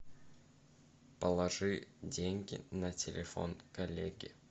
положи деньги на телефон коллеге